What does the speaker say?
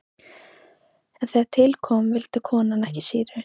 En þegar til kom vildi konan ekki sýru.